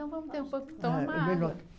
Então vamos ter um pouco, toma água. É melhor